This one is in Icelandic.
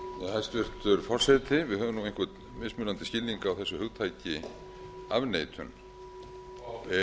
hæstvirtur forseti við höfum nú einhvern mismunandi skilning á þessu hugtaki